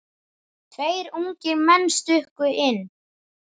Tveir ungir menn stukku inn.